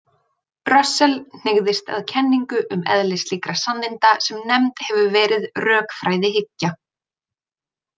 Russell hneigðist að kenningu um eðli slíkra sanninda sem nefnd hefur verið rökfræðihyggja.